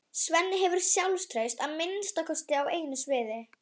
Svenni hefur sjálfstraust að minnsta kosti á einu sviði.